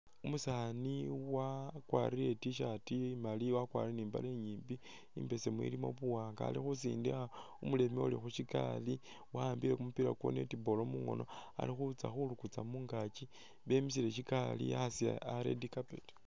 Umusaani wakwalire i't-shirt imaali wakwalire ni mbaale i'nyimbi imbesemu ilimo buwaanga ali khusindikha umuleme uli shikaali wawambile kumupila kwa netball mungoono ali khulukutsa mungaki bemisile sikaali aasi a'red carpet